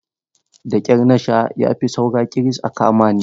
Da ƙyar na sha ya fi saura ƙiris aka kama ni.